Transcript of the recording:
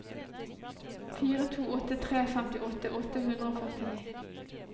fire to åtte tre femtiåtte åtte hundre og førtini